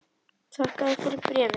Þakka þér fyrir bréfið!